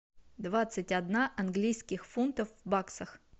двадцать одна английских фунтов в баксах